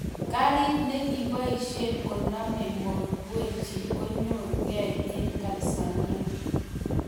Karit ne kiboisiei konamei Mo Dewji konyorkei eng Tanzania.